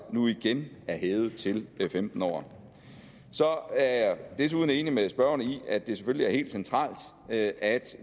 nu igen er hævet til femten år så er jeg desuden enig med spørgeren i at det selvfølgelig er helt centralt at at